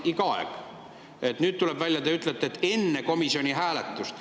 Nüüd tuleb välja, teie ütlete, et enne komisjoni hääletust.